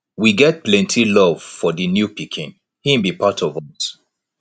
we get plenty love for di new pikin im be part of us